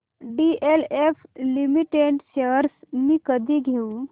DLF limited shares मी कधी घेऊ